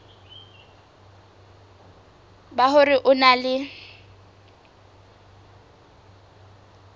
ba hore o na le